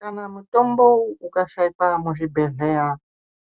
Kana mutombo ukashaikwa muzvibhedhleya